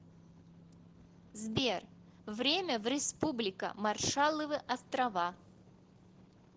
сбер время в республика маршалловы острова